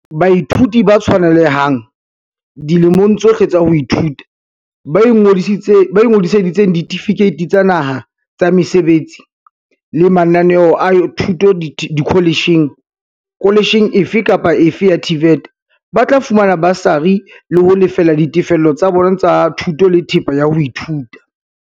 Baithuti ba tshwanelehang, dilemong tsohle tsa ho ithuta, ba ingodiseditseng ditefikeiti tsa naha, tsa mesebetsi, le mananeo a thuto dikhole tjheng - kholetjheng efe kapa efe ya TVET - ba tla fumana basari ho lefella ditefello tsa bona tsa thuto le thepa ya ho ithuta.